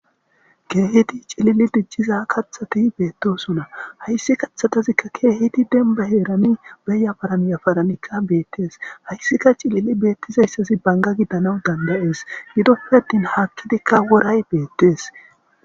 keehiti cilili dicciza kathati beettosuna hayssi kathatazikka keehiti denba heerani beya baraniyafaranikka beettees hayssika cilili beettizayssazi banga giddanawu dandayees gidoppe ttin haakkidikka woray beettees